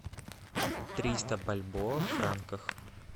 триста бальбоа в франках